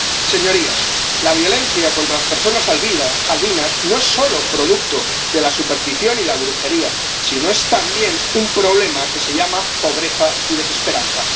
Señorías, la violencia contra las personas albinas no es solo producto de la superstición y la brujería, sino es también un problema que se llama pobreza y desesperanza.